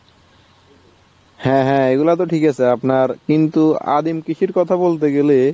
হ্যাঁ হ্যাঁ এই গুলা তো ঠিক আছে আপনার কিন্তু আদিম কৃষির কথা বলতে গেলে